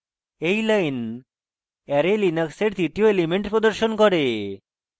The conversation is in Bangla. এই line অ্যারে linux এর তৃতীয় এলিমেন্ট প্রদর্শন করে